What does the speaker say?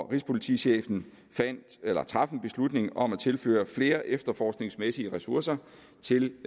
rigspolitichefen traf en beslutning om at tilføre flere efterforskningsmæssige ressourcer til